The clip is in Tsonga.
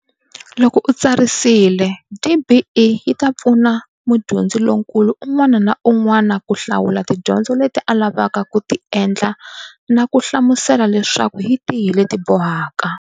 Loko u tsarisile, DBE yi ta pfuna mudyondzi lonkulu un'wana na un'wana ku hlawula tidyondzo leti a lavaka ku ti endla na kuhlamusela leswaku hi tihi leti bohaka.